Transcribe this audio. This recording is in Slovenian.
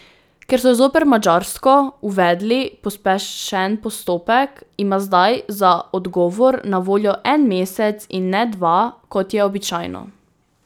Ker so zoper Madžarsko uvedli pospešen postopek, ima zdaj za odgovor na voljo en mesec in ne dva, kot je običajno.